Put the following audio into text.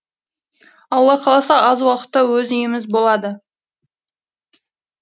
алла қаласа аз уақытта өз үйіміз болады